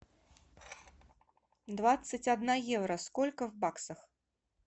двадцать одна евро сколько в баксах